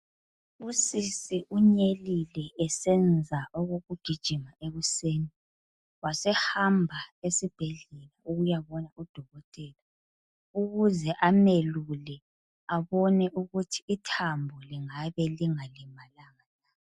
Usisi unyelile esenza okukujigima ekuseni, wasehamba esibhedlela ukuyabona udokotela ukuze amelule abone ukuthi ithambo lingabe lingalimalanga yini.